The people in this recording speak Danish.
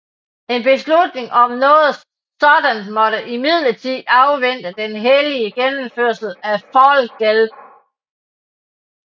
En beslutning om noget sådant måtte imidlertid afvente den heldige gennemførelse af Fall Gelb